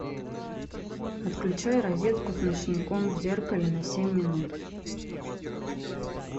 отключай розетку с ночником в зеркале на семь минут